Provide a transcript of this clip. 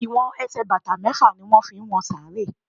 They use six feet to measure graves.